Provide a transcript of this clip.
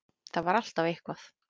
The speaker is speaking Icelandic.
Það var alltaf eitthvað.